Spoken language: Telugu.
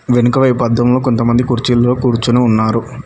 వెనుకవైపు అద్దంలో కొంతమంది కుర్చీల్లో కూర్చుని ఉన్నారు.